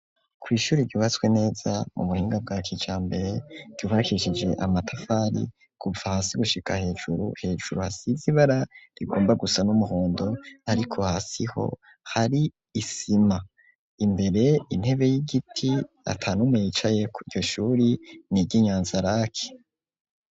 Kwishuri ryubatswe neza mu buhinga bwa kijambere ryubakishije amatafari kuva hasi gushika hejuru hejuru hasize ibara rigomba gusa n'umuhondo ariko hasi ho hari isima, imbere intebe y'igiti atanumwe yicaye Kuri iryo shuri niryi Nyanzaraki.